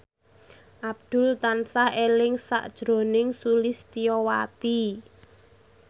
Abdul tansah eling sakjroning Sulistyowati